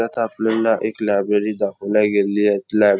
यात आपल्याला एक लायब्ररी दाखवल्या गेलेली आहे लॅब --